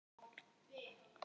sagði Skapti sigri hrósandi.